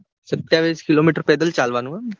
સત્યાવીસ કિલોમીટર પેદલ જ ચાલવાનું એમ